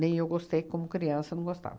eu gostei, como criança, não gostava.